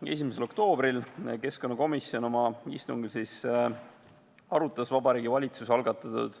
1. oktoobril valmistas keskkonnakomisjon oma istungil Vabariigi Valitsuse algatatud